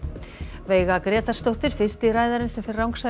veiga Grétarsdóttir fyrsti ræðarinn sem fer rangsælis